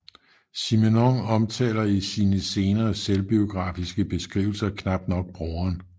Simenon omtaler i sine senere selvbiografiske beskrivelser knap nok broderen